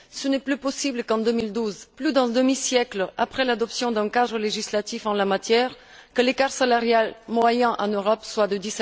Il n'est plus possible qu'en 2012, plus d'un demi siècle après l'adoption d'un cadre législatif en la matière, l'écart salarial moyen en Europe soit de